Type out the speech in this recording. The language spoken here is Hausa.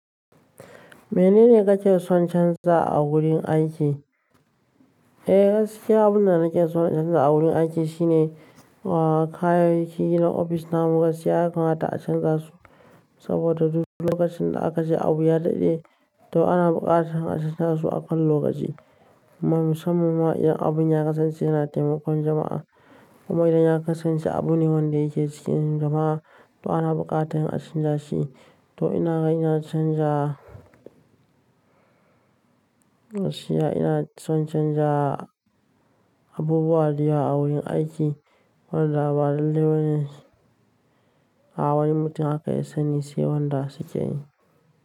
Menene kake son canza a wurin aiki? Eh, gaskiya abun da nake son in canza a wurin aiki shine, uh, kayayyakin gidan ofis namu gaskiya haka mata a canza su saboda duk lokacin da aka je abu ya daɗe, to ana buƙatar in a canza su a kwan lokaci. Musamman ma idan abun ya kasance yana taimakon jama'a. Kuma idan ya kasance abu ne wanda yake jikin jama'a, to ana buƙatar in a canja shi. To ina kai na canza shi, ya ina son canja abubuwa da yawa a wurin aiki. Wadanda ba lalle bane wani mutum haka ya sani shi ne wanda suke yi.